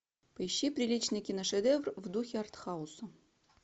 поищи приличный киношедевр в духе артхауса